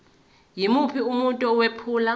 yimuphi umuntu owephula